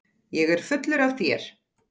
Ég er fullur af þér.